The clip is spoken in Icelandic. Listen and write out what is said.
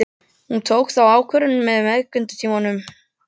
Hún tók þá ákvörðun á meðgöngutímanum.